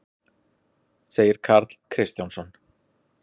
segir Karl Kristjánsson.